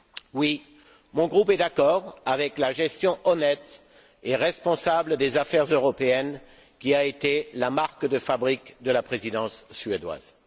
Oui, mon groupe est d'accord avec la gestion honnête et responsable des affaires européennes, qui a été la marque de fabrique de la Présidence suédoise.